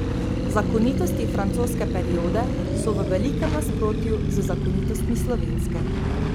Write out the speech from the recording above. Zakonitosti francoske periode so v velikem nasprotju z zakonitostmi slovenske.